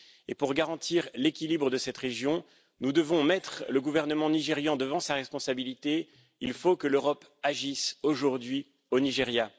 Et pour garantir l'équilibre de cette région, nous devons mettre le gouvernement nigérian devant sa responsabilité il faut que l'Europe agisse aujourd'hui au Nigeria.